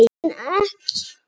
En ekki ljót.